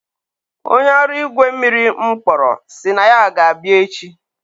onye ọrụ igwe mmiri m kpọrọ sị na ya ga-abịa echi.